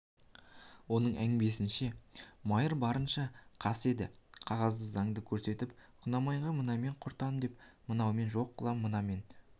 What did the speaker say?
оның әңгімесінше майыр барынша қас еді қағазды заңды көрсетіп құнанбайға мынамен құртам мынамен жоқ қылам мынамен